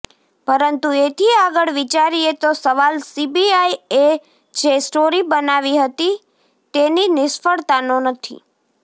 પરંતુ એથી આગળ વિચારીએ તો સવાલ સીબીઆઈ એ જે સ્ટોરી બનાવી હતી તેની નિષ્ફળતાનો નથી